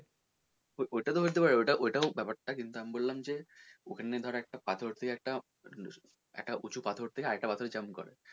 ওইটা তো হতে পারে ওইটা তো হতে পারে ব্যাপার টা কিন্তু আমি বললাম যে ওখানে ধর একটা পাথর তুই ধর একটা উঁচু পাথর থেকে আরেকটা পাথরে jump করে,